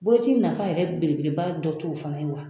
Boloci nafa yɛrɛ belebeleba dɔ t'o fana ye wa